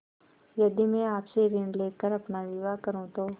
यदि मैं आपसे ऋण ले कर अपना विवाह करुँ तो